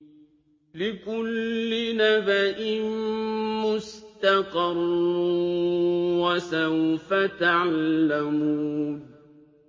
لِّكُلِّ نَبَإٍ مُّسْتَقَرٌّ ۚ وَسَوْفَ تَعْلَمُونَ